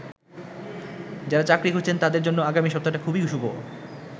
যারা চাকরি খুঁজছেন তাদের জন্য আগামী সপ্তাহটা খুবই শুভ।